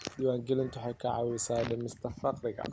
Diiwaangelintu waxay caawisaa dhimista faqriga.